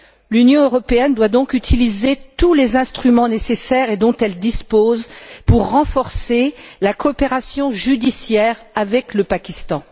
L'Union européenne doit donc utiliser tous les instruments nécessaires et dont elle dispose pour renforcer la coopération judiciaire avec le Pakistan.